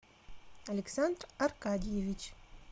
александр аркадьевич